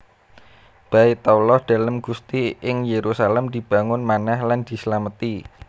Baitallah Dalem Gusti ing Yerusalem dibangun manèh lan dislameti